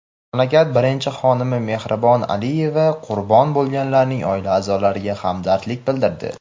mamlakat birinchi xonimi Mehribon Aliyeva qurbon bo‘lganlarning oila a’zolariga hamdardlik bildirdi.